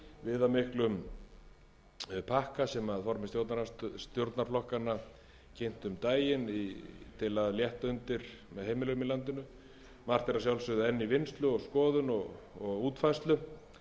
viðamiklum pakka sem formenn stjórnarflokkanna kynntu um daginn til að létta undir með heimilum í landinu margt er að sjálfsögðu enn í vinnslu og skoðun og útfærslu